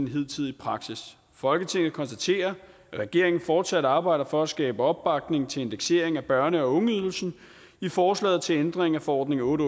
hidtidig praksis folketinget konstaterer at regeringen fortsat arbejder for at skabe opbakning til indeksering af børne og ungeydelsen i forslaget til ændring af forordning otte